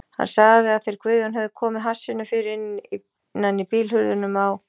Hann sagði að þeir Guðjón hefðu komið hassinu fyrir innan í bílhurðunum á